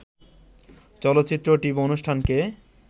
চলচ্চিত্র ও টিভি অনুষ্ঠানকে